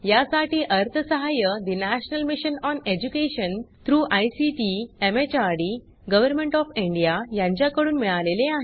यासाठी अर्थसहाय्य national mission on education through ICT MHRD government of India यांच्याकडून मिळालेले आहे